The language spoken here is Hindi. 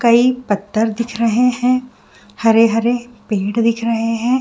कई पत्थर दिख रहे है हरे-हरे पेड़ दिख रहे है।